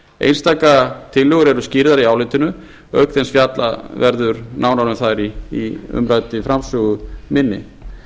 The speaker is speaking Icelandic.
einstakar tillögur eru skýrðar í álitinu auk þess sem fjallað verður nánar um þær í umræddri framsögu minni